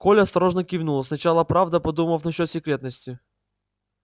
коля осторожно кивнул сначала правда подумав насчёт секретности